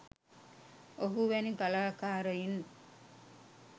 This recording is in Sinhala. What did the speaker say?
ඔහු වැනි කලාකාරයින්